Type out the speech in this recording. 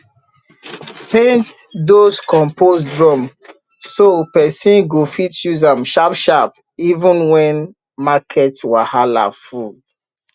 paint those compost drum so person go fit use am sharp sharp even when market wahala full